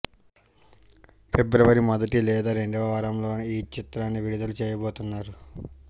ఫిబ్రవరి మొదటి లేదా రెండవ వారంలోనే ఈ చిత్రాన్ని విడుదల చేయబోతున్నారు